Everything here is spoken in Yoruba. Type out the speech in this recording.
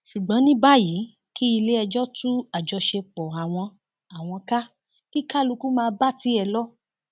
ṣùgbọn ní báyìí kí iléẹjọ tú àjọṣepọ àwọn àwọn ká kí kálukú máà bá tiẹ lọ